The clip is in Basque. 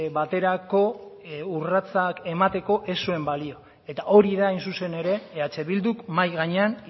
baterako urratsak emateko ez zuen balio eta hori da hain zuzen ere eh bilduk mahai gainean